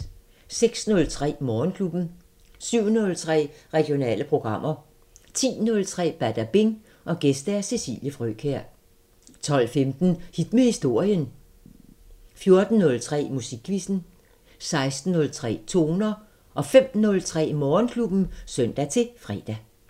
06:03: Morgenklubben 07:03: Regionale programmer 10:03: Badabing: Gæst Cecilie Frøkjær 12:15: Hit med historien 14:03: Musikquizzen 16:03: Toner 05:03: Morgenklubben (søn-fre)